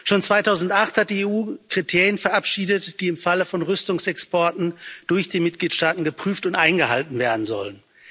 Schon 2008 hat die EU Kriterien verabschiedet, die im Falle von Rüstungsexporten durch die Mitgliedstaaten geprüft und eingehalten werden sollen.